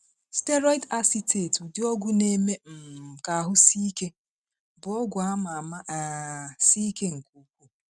Steroid Acetate (ụdị ọgwụ na-eme um ka ahụ sie ike) bụ ọgwụ a ma ama ma um sie ike nke ukwuu.